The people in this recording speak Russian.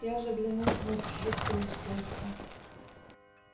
я заглянул внутрь жуткое устройство